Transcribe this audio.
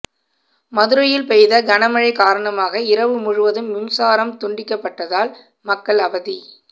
மதுரையில் பெய்த கனமழை காரணமாக இரவு முழுவதும் மின்சாரம் துண்டிக்கப்பட்டதால் மக்கள் அவதி